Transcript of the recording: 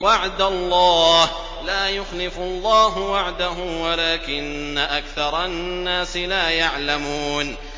وَعْدَ اللَّهِ ۖ لَا يُخْلِفُ اللَّهُ وَعْدَهُ وَلَٰكِنَّ أَكْثَرَ النَّاسِ لَا يَعْلَمُونَ